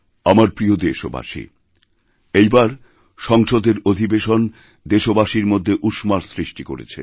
আমার প্রিয় দেশবাসী এইবার সংসদের অধিবেশনদেশবাসীর মধ্যে উষ্মার সৃষ্টি করেছে